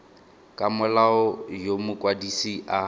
ka molao yo mokwadise a